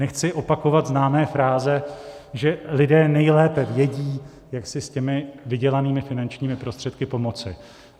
Nechci opakovat známé fráze, že lidé nejlépe vědí, jak si s těmi vydělanými finančními prostředky pomoci.